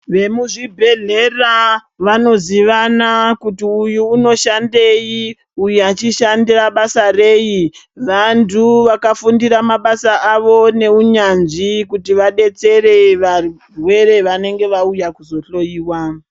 Vemuzvibhedhlera vanozivana kuti uyu unoshandei, uyu achishanda basa rei. Vantu vakafundira mabasa avo neunyanzvi kuti vadetsere varwere vanenge vauya kuzohloyiwa.